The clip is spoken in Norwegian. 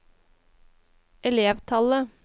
elevtallet